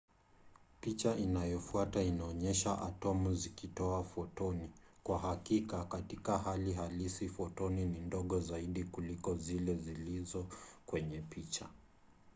picha inayofuata inaonyesha atomu zikitoa fotoni. kwa hakika katika hali halisi fotoni ni ndogo zaidi kuliko zile zilizo kwenye picha